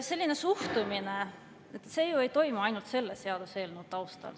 Selline suhtumine ei toimu ju ainult selle seaduseelnõu taustal.